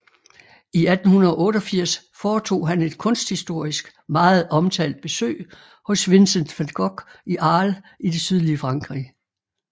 I 1888 foretog han et kunsthistorisk meget omtalt besøg hos Vincent van Gogh i Arles i det sydlige Frankrig